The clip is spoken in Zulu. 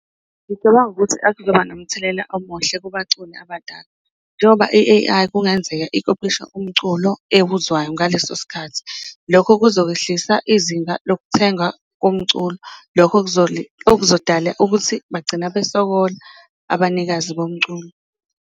Ngicabanga ukuthi nomthelela omuhle kubaculi abadala, njengoba i-A_I kungenzeka ikophisha umculo ewuzwayo ngaleso sikhathi, lokho kuzokwehlisa izinga lokuthenga komculo, lokho lokho kuzodala ukuthi bagcina besokola abanikazi bomculo.